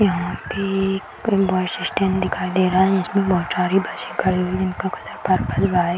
यहाँ पे एक बस स्टैंड दिखाई दे रहा है जिसमे बहुत सारी बसे खड़ी हुई है जिनका कलर पर्पल व्हाइट --